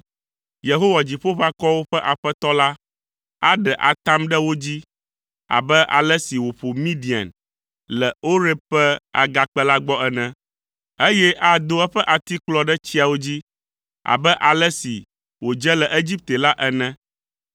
Yehowa, Dziƒoʋakɔwo ƒe Aƒetɔ la, aɖe atam ɖe wo dzi abe ale si wòƒo Midian le Oreb ƒe agakpe la gbɔ ene, eye ado eƒe atikplɔ ɖe tsiawo dzi abe ale si wòdze le Egipte la ene.